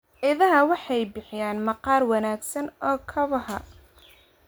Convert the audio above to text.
Idaha waxay bixiyaan maqaar wanaagsan oo kabaha.